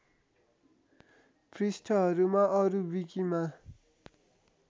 पृष्ठहरूमा अरू विकीमा